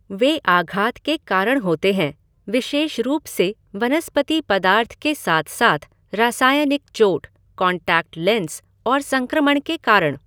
वे आघात के कारण होते हैं, विशेष रूप से वनस्पति पदार्थ के साथ साथ रासायनिक चोट, कॉन्टैक्ट लेंस और संक्रमण के कारण।